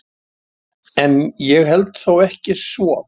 En ég held þó ekki svo.